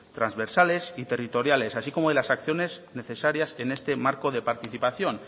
transversales y territoriales así como de las acciones necesarias en este marco de participación